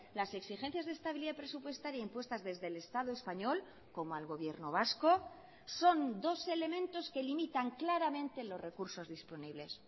las exigencias de estabilidad presupuestaria impuestas desde el estado español como al gobierno vasco son dos elementos que limitan claramente los recursos disponibles